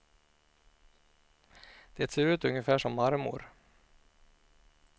Det ser ut ungefär som marmor.